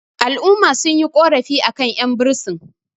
al'umma sun yi ƙorafi a kan 'yanbursin